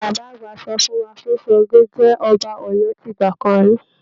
Bàbá àgbà sọ fún wa pé Ṣàngó jẹ́ ọba Ọ̀yọ́ tìgbà kan ri